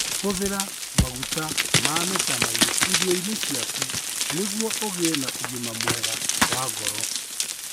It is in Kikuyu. Hũthĩra maguta ma mĩtamaiyũ irio-inĩ ciaku nĩguo ũgĩe na ũgima mwega wa ngoro.